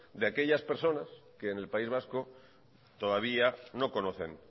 de aquellas personas que en el país vasco todavía no conocen